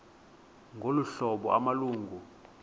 ngolu hlobo amalungu